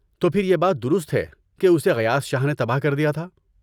‏تو پھر یہ بات درست ہے کہ اسے غیاث شاہ نے تباہ کردیا تھا؟‏